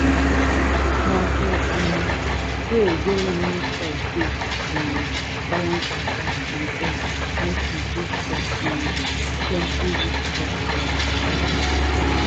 e dey help plant hold ground well so dat breeze no go quick bend am or fall am reach ground